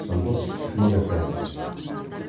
жандос жұмабек баяндайды